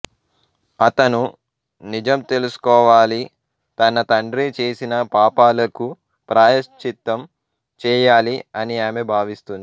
అతను నిజం తెలుసుకోవాలి తన తండ్రి చేసిన పాపాలకు ప్రాయశ్చిత్తం చేయాలి అని ఆమె భావిస్తుంది